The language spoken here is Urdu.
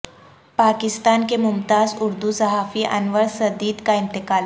پاکستان کے ممتاز اردو صحافی انور سدید کا انتقال